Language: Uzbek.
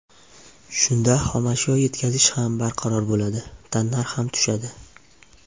Shunda xomashyo yetkazish ham barqaror bo‘ladi, tannarx ham tushadi.